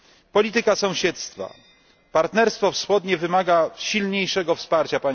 Polityka sąsiedztwa partnerstwo wschodnie wymaga silniejszego wsparcia.